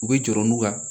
U bɛ jɔrɔ n'u ka